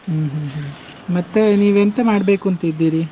ಹ್ಮ್ ಹ್ಮ್ ಹ್ಮ್, ಮತ್ತೇ ನೀವ್ ಎಂತ ಮಾಡಬೇಕುಂತ ಇದ್ದೀರಿ?